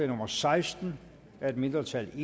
nummer seksten af et mindretal